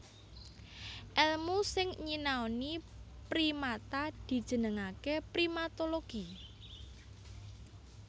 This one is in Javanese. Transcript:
Èlmu sing nyinaoni primata dijenengaké primatologi